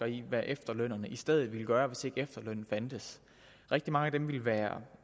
i hvad efterlønnerne i stedet ville gøre hvis ikke efterlønnen fandtes rigtig mange af dem ville være